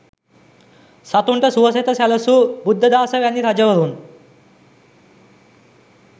සතුන්ට සුවසෙත සැලසූ බුද්ධදාස වැනි රජවරුන්